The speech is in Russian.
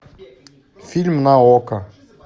фильм на окко